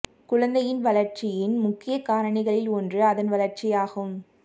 குழந்தையின் வளர்ச்சியின் முக்கிய காரணிகளில் ஒன்று அதன் வளர்ச்சி ஆகும்